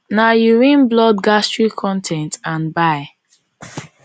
na urine blood gastric con ten t and bile